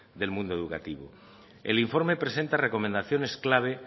del mundo educativo el informe presenta recomendaciones clave